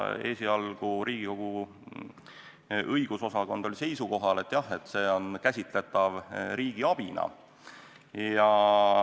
Esialgu oli Riigikogu Kantselei õigus- ja analüüsiosakond seisukohal, et jah, see on käsitletav riigiabina.